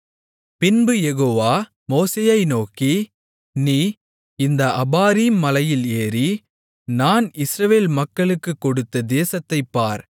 பின்பு யெகோவா மோசேயை நோக்கி நீ இந்த அபாரீம் மலையில் ஏறி நான் இஸ்ரவேல் மக்களுக்குக் கொடுத்த தேசத்தைப் பார்